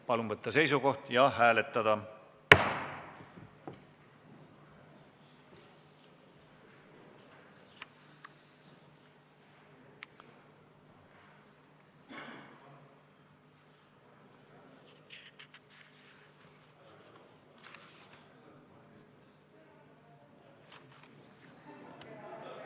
Palun võtta seisukoht ja hääletada!